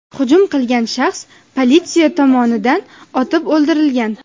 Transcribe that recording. Hujum qilgan shaxs politsiya tomonidan otib o‘ldirilgan.